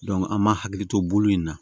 an m'an hakili to bolo in na